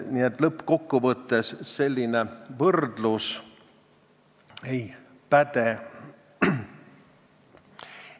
Nii et lõppkokkuvõttes selline võrdlus ei päde.